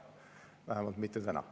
Vähemalt mitte täna.